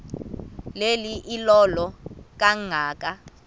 le ilola kangaka